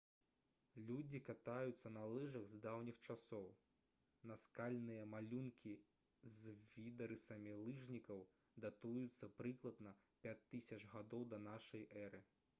людзі катаюцца на лыжах з даўніх часоў наскальныя малюнкі з відарысамі лыжнікаў датуюцца прыкладна 5000 г да нашай эры